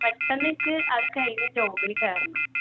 പെട്ടെന്ന് എനിക്ക് അത് കഴിഞ്ഞു job ഇൽ കേറണം.